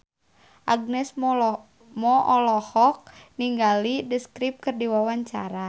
Agnes Mo olohok ningali The Script keur diwawancara